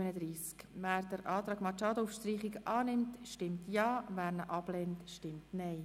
Wer diesen Streichungsantrag annimmt stimmt Ja, wer diesen ablehnt, stimmt Nein.